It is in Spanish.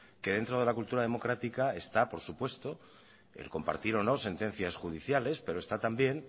que dentro de la cultura democrática está por supuesto el compartir o no sentencias judiciales pero está también